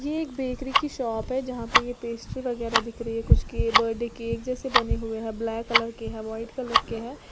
एक बेकरी की शॉप है जहां पे यह पेस्ट्री वगैरा दिख रही है कुछ के बर्थडे केक जैसे बने हुए है ब्लैक कलर के है व्हाइट कलर के है।